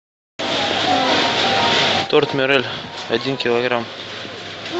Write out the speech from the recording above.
торт мирель один килограмм